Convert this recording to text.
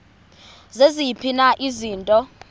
ziziphi na izinto